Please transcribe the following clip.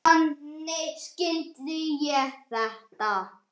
Þannig skildi ég þetta.